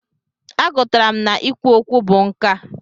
A gụtara m na i kwu okwu bụ nkà.